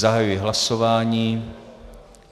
Zahajuji hlasování.